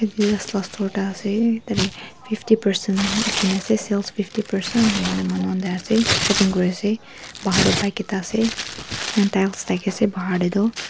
adidas la store ekta ase tate fifty percent likhi na ase sales fifty percent enia hoine manu khan de ase shopping kuri ase bahar de bike ekta ase and tiles thaki ase bahar de tu.